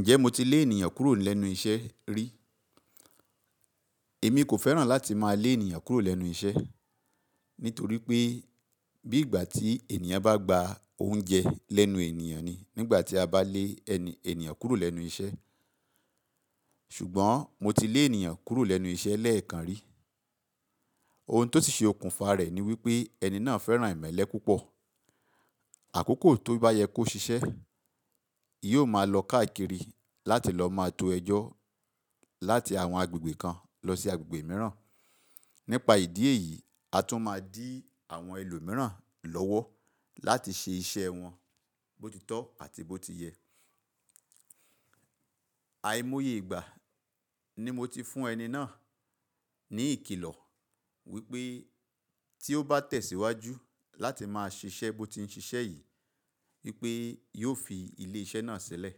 Ǹjẹ́ mo ti lé ènìyàn kúrò lẹ́nu iṣẹ́ rí? Èmi kò fẹ́ràn láti máa lé ènìyàn kúrò lẹ́nu iṣẹ́, nítorí pé bí ìgbà tí ènìyàn bá gba oúnjẹ lẹ́nu ènìyàn ni nígbà tí a bá lé ènìyàn kúrò lẹ́nu iṣẹ́. Ṣùgbọ́n mo ti lé ènìyàn kúrò lẹ́nu iṣẹ́ lẹ́ẹ̀kan rí. Ohun tó ti ṣe okùnfà rẹ̀ ni wípé ẹni náà fẹ́ràn ìmẹ́lẹ́ púpọ̀. Àkókò tó bá yẹ kó ṣiṣẹ́, yóò máa lọ káàkiri láti lọ máa to ẹjọ́ láti àwọn agbègbè kan lọ sí agbègbè mìíràn. Nípa ìdí èyí, a tún máa dí àwọn ẹlòmíràn lọ́wọ́ láti ṣe iṣẹ́ wọn bótitọ́ àti bó ti yẹ. Àimoyè ìgbà ni mo ti fún ẹni náà ní ìkìlọ̀ wípé tí ó bá tẹ̀síwájú láti máa ṣiṣẹ́ bó ti ń ṣiṣẹ́ yìí wípé yóò fi ilé iṣẹ́ náà sílẹ̀.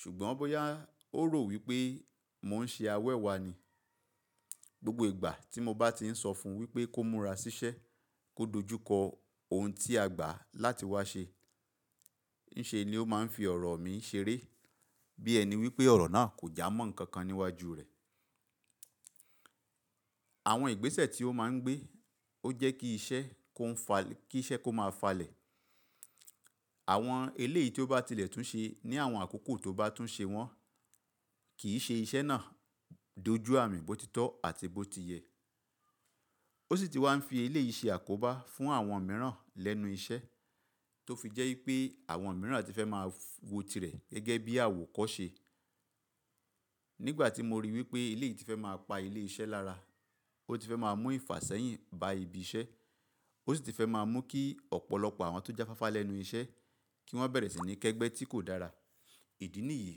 Ṣùgbọ́n boya ó rò wípé mò ń ṣe awẹ́wàá ni. Gbogbo ìgbà tí mo bá ti ń sọ fún wípé kó múra ṣiṣẹ́, kó dojúkọ ohun tí a gbà láti wá ṣe, ń ṣe ni ó máa ń fi ọ̀rọ̀ mi ṣeré bí ẹni wípé ọ̀rọ̀ náà kò jámọ̀ ǹkan kan níwájú rẹ̀. Àwọn ìgbésẹ̀ tí ó máa ń gbé ó jẹ́ kí iṣẹ́ kó máa falẹ̀. Àwọn eléèyí tí ó bá tilẹ̀ tún ṣe ní àwọn àkókò tó bá tún ṣe wọ́n kì í ṣe iṣẹ́ náà dojú àmì bótitọ́ àti bó ti yẹ. Ó sì ti wá ń fi ilé yìí ṣe àkóbá fún àwọn mìíràn lẹ́nu iṣẹ́ tó fi jẹ́ wípé àwọn mìíràn ti fẹ́ máa wọ tirẹ̀ gẹ́gẹ́ bí àwòkọ́ ṣe. Nígbà tí mo ríi wípé ilé yìí ti fẹ́ máa pa ilé iṣẹ́ lára, ó ti fẹ́ máa mú ìfàsẹ́yìn ba ibi iṣẹ́, ó sì ti fẹ́ máa mú kí ọ̀pọ̀lọpọ̀ àwọn tó jẹ́ fáfá lẹ́nu iṣẹ́ kí wọ́n bẹ̀rẹ̀ sí ní kẹ́gbẹ́ tí kò dára. Ìdí nìyí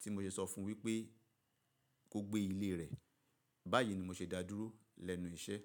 tí mo ṣe sọ fún wípé kó gbé ilé rẹ̀. Báyìí ni mo ṣe dá dúró lẹ́nu iṣẹ́.